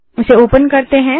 इसे ओपन करते हैं